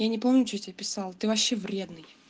я не помню что я тебе писал ты вообще вредный